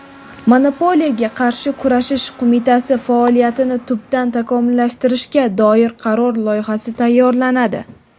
Monopoliyaga qarshi kurashish qo‘mitasi faoliyatini tubdan takomillashtirishga doir qaror loyihasi tayyorlanadi.